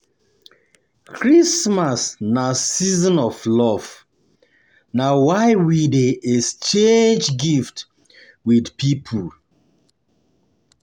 Christmas na season of love, na why we dey um exchange gift um wit um pipo.